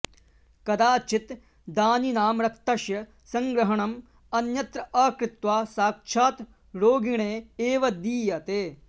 कदाचित् दानिनां रक्तस्य सङ्ग्रहणम् अन्यत्र अकृत्वा साक्षात् रोगिणे एव दीयते